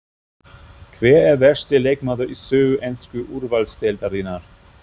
Hver er versti leikmaður í sögu ensku úrvalsdeildarinnar?